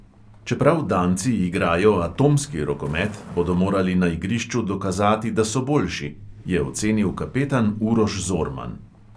"Čeprav danci igrajo atomski rokomet, bodo morali na igrišču dokazati, da so boljši," je ocenil kapetan uroš zorman.